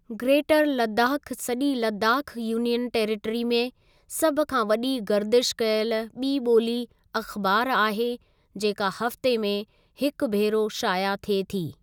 Greater Ladakh सॼी Ladakh union territory में सभ खां वॾी गर्दिश कयल ॿि ॿोली अख़बार आहे जेका हफ़्ते में हिक भेरो शाया थिए थी।